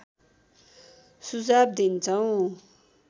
सुझाव दिन्छौँ